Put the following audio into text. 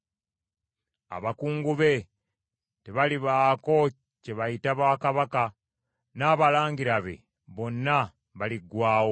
Abakungu be tebalibaako kye bayita bwakabaka, n’abalangira be bonna baliggwaawo.